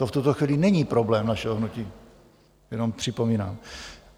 To v tuto chvíli není problém našeho hnutí, jenom připomínám.